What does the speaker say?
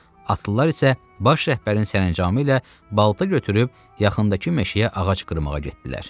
Atlılar isə baş rəhbərin sərəncamı ilə balta götürüb yaxındakı meşəyə ağac qırmağa getdilər.